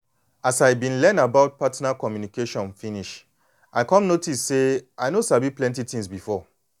as i been learn about learn about partner communication finish i come notice say i no sabi plenty thing before